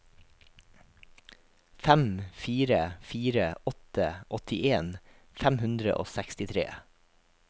fem fire fire åtte åttien fem hundre og sekstitre